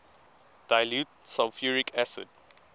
dilute sulfuric acid